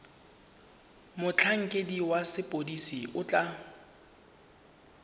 motlhankedi wa sepodisi o tla